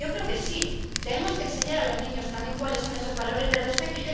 Yo creo que sí, y que tenemos que enseñar a los niños también cuáles son esos valores de respeto.